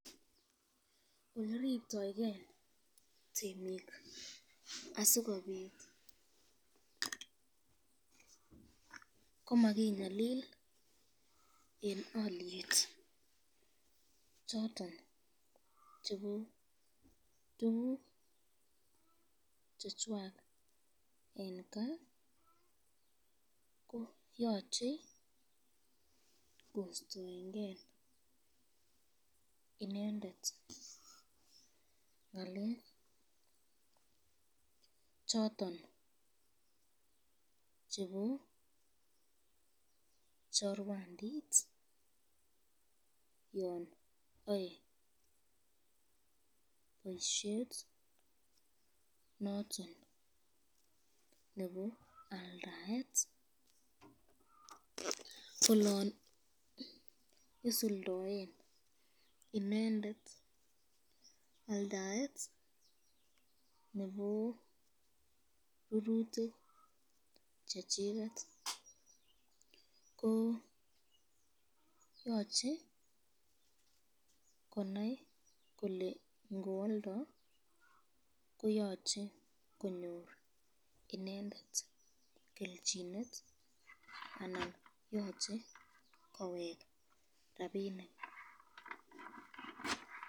Oleriptoken temik asikobit komakinyalil eng alyet choton chebo tukuk choton chetai eng kaa ko yachei ko staenken inendet ngalekab choton chebo chorwandit neyae boisyet noton nebo aldaet olon isuldoen aldaet nebo rurutik